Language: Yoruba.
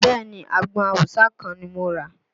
Bẹẹ ni, àgbọn awùsá kan ni mo rà